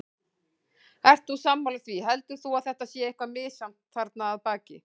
Ert þú sammála því, heldur þú að það sé eitthvað misjafnt þarna að baki?